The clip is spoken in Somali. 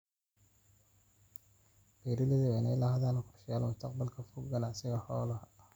Beeralaydu waa inay lahaadaan qorshayaal mustaqbalka fog ganacsiga xoolaha.